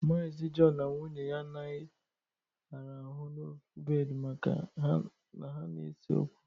Maazi Jọn na nwunye ya anaghị arahụ n'ofu bedị maka na ha na-ese okwu